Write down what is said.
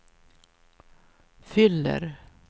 fyller